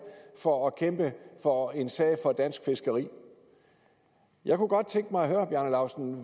for at kæmpe for en sag for dansk fiskeri jeg kunne godt tænke mig at høre herre bjarne laustsen